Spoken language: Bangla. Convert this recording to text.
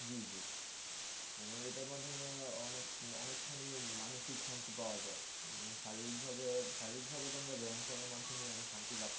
জি জি যেমন এটার মাধ্যমে অনেক অনেক খানি মানুষিক শান্তি পাওয়া যায়। শারীরিক ভাবে শারীরিক ভাবে তো আমরা ব্যায়াম করার মাধ্যমে শান্তি লাভ